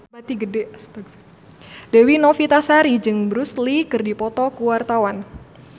Dewi Novitasari jeung Bruce Lee keur dipoto ku wartawan